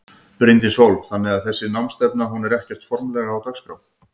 Bryndís Hólm: Þannig að þessi námsstefna hún er ekkert formlegra á dagskrá?